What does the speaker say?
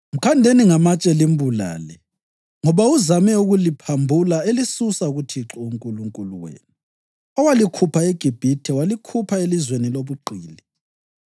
Mkhandeni ngamatshe limbulale, ngoba uzame ukuliphambula elisusa kuThixo uNkulunkulu wenu, owalikhupha eGibhithe, walikhupha elizweni lobugqili.